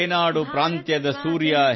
ರೇನಾಡು ಪ್ರಾಂತ್ಯದ ಸೂರ್ಯ